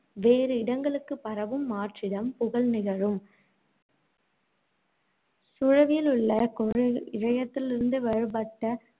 வேறு இடங்களுக்குப் பரவும் மாற்றிடம் புகல் நிகழும் சூழவுள்ள இழையத்திலிருந்து வேறுபட்ட,